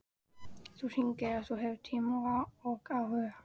Þú hringir ef þú hefur tíma og áhuga.